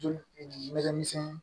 Joli ɲɛgɛn misɛnnin